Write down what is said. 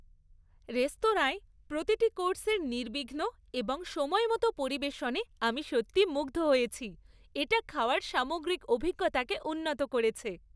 রেস্তোরাঁয় প্রতিটি কোর্সের নির্বিঘ্ন এবং সময় মতো পরিবেশনে আমি সত্যিই মুগ্ধ হয়েছি; এটা খাওয়ার সামগ্রিক অভিজ্ঞতাকে উন্নত করেছে।